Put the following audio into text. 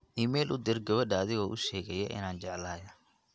iimayl u dir gabadha adigoo u sheegaya inaan jeclahay